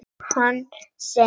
Kom hann seint?